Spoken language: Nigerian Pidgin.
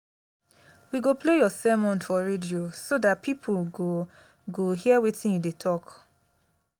we go play your sermon for radio so dat people go go hear wetin you dey talk